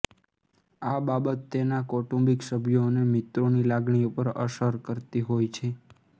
આ બાબત તેના કૌટુંબિક સભ્યો અને મિત્રોની લાગણી ઉપર અસર કરતી હોય છે